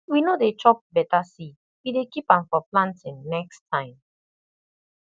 we no dey chop better seed we dey keep am for planting next time